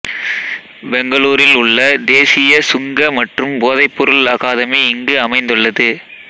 பெங்களூரில் உள்ள தேசிய சுங்க மற்றும் போதைப்பொருள் அகாதமி இங்கு அமைந்துள்ளது